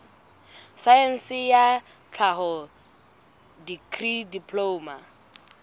saense ya tlhaho dikri diploma